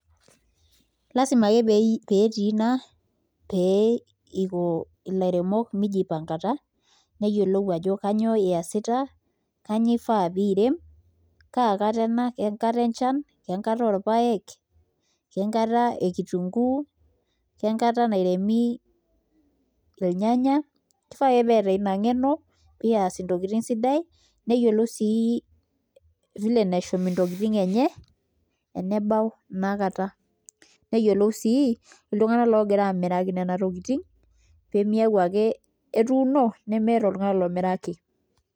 ilasima ake pee etii ina pee iko ikilkumok mijipangata neyiolou ajo kanyioo eesita kanyioo ifaa pee irem kegata oo ilpayek kengata ekitunguu kengata nairemi ilnyanya, kifaa ake pee eta ina ng'eno pee esie intokitin sidain, neyiolou sii vile neshum intokitin enye tenebau inakata neyiolou sii iltunganak oomiraki nenatokitin pee meeku ake etuuno nelau oltungani omiraki.